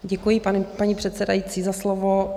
Děkuji, paní předsedající, za slovo.